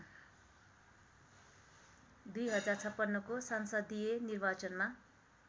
२०५६को संसदीय निर्वाचनमा